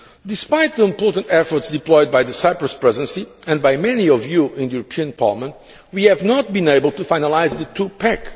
Despite the important efforts deployed by the Cyprus Presidency and by many of you in the European Parliament, we have not been able to finalise the two pack.